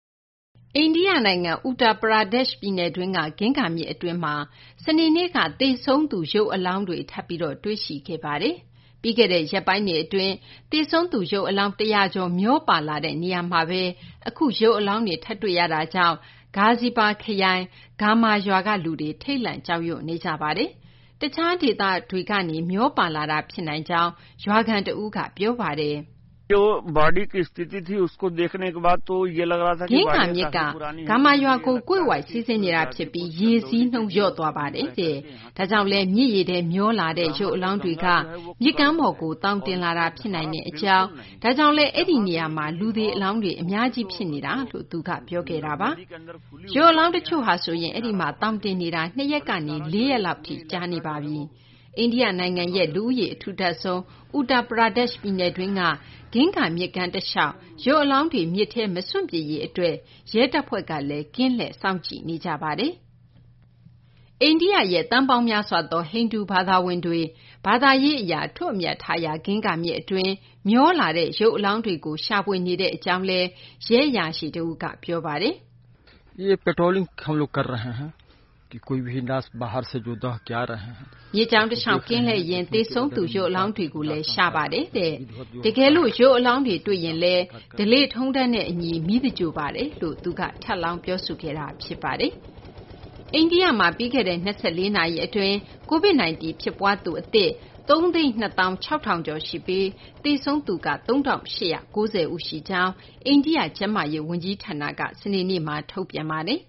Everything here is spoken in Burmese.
အိန္ဒိယနိုင်ငံ Uttar Pradesh ပြည်နယ်တွင်းက ဂင်္ဂါမြစ်အတွင်းမှာ စနေနေ့က သေဆုံးသူ ရုပ်အလောင်းတွေ ထပ်ပြီး တွေ့ရှိခဲ့ပါတယ်။ ပြီးခဲ့တဲ့ရက်ပိုင်းတွေအတွင်း သေဆုံးသူ ရုပ်အလောင်း ၁၀၀ ကျော် မျောပါလာတဲ့ နေရာမှာပဲ အခုရုပ်အလောင်းတွေ ထပ်တွေ့ရတာကြောင့် Ghazipur ခရိုင် Gahmar ရွာက လူတွေ ထိတ်လန့် ကြောက်ရွံ့နေကြပါတယ်။ တခြားဒေသတွေကနေ မျောပါလာတာ ဖြစ်နိုင်ကြောင်း ရွာခံ Akhand Pratap က ပြောပါတယ်။ “တခြားခရိုင်တွေကနေ မျောလာတာလည်း ဖြစ်နိုင်ပါတယ်။ ဂင်္ဂါမြစ်က Ghamar ရွာကို ကွေ့ဝိုက်စီးဆင်းတာဖြစ်ပြီး ရေစီးလျော့ပါတယ်။ ဒါကြောင့်လည်း မြစ်ရေထဲ မျောလာတဲ့ ရုပ်အလောင်းတွေက မြစ်ကမ်းပေါ်ကို သောင်တင်လာတာ ဖြစ်နိုင်ကြောင်း၊ ဒါကြောင့်လည်း အဲဒီနေရာမှာ လူသေအလောင်းတွေ အများကြီးဖြစ်နေတာ။” လို့ သူက ပြောခဲ့တာပါ။ ရုပ်အလောင်းတချို့ဆိုရင် အဲဒီမှာ သောင်တင်နေတာ ၂ ရက်ကနေ ၄ ရက်လောက် ရှိနေပါပြီ။ အိန္ဒိယရဲ့ လူဦးရေအထူထပ်ဆုံး Uttar Pradesh ပြည်နယ်တွင်းက ဂင်္ဂါမြစ်ကမ်းတလျှောက်မှာ ရုပ်အလောင်းတွေ မြစ်ထဲမစွန့်ပစ်ရေးအတွက် ရဲတပ်ဖွဲ့က ကင်းလှည့် စောင့်ကြည့်နေရပါတယ်။ အိန္ဒိယရဲ့ သန်းပေါင်းများစွာသော ဟိန္ဒူဘာသာဝင်တွေရဲ့ ဘာသာရေးအရ အထွတ်အမြတ်ထားရာ ဂင်္ဂါမြစ်အတွင်း မျောလာတဲ့ ရုပ်အလောင်းတွေကိုလည်း ရှာဖွေနေကြောင်း ရဲအရာရှိ B.N. UPADHYAY က ပြောပါတယ်။ “မြစ်ကြောင်းတလျှောက် ကင်းလှည့်ရင်း သေဆုံးသူ ရုပ်အလောင်းတွေကိုလည်း ရှာပါတယ်။ တကယ်လို့ ရုပ်အလောင်းတွေ တွေ့ရင်လည်း ဓလေ့ထုံးတမ်းနဲ့အညီ မီးသင်္ဂြိုဟ်ပါတယ်။” လို့ ရဲအရာရှိက ထပ်လောင်းပြောဆိုခဲ့တာ ဖြစ်ပါတယ်။ ပြီးခဲ့တဲ့ ၂၄ နာရီအတွင်း COVID-19 ဖြစ်ပွားသူ အသစ် ၃၂၆,၀၉၈ ဦးရှိပြီး သေဆုံးသူ ၃,၈၉၀ ဦးရှိကြောင်း အိန္ဒိယ ကျန်းမာရေးဝန်ကြီးဌာနက စနေနေ့မှာ ထုတ်ပြန်ပါတယ်